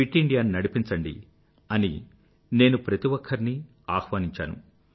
fit ఇండియాను నడిపించండి అని నేను ప్రతి ఒక్కరినీ నేను ఆహ్వానించాను